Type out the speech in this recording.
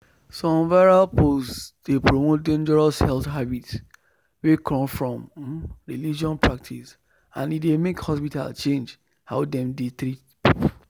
some viral post dey promote dangerous health habit wey come from um religious practice and e dey make hospital change how dem dey treat people.